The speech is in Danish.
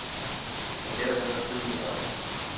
Men dermed var striden ikke afgjort.